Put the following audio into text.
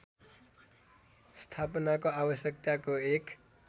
स्थापनाको आवश्यकताको एक